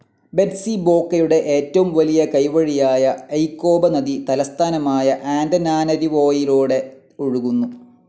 ബെറ്റ്സിബോക്കയുടെ ഏറ്റവും വലിയ കൈവഴിയായ ഐകോപ നദി തലസ്ഥാനമായ ആന്റനാനരിവോയിലൂടെ ഒഴുകുന്നു.